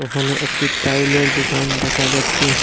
এখানে একটি টাইলের দুকান দেখা যাচ্ছে।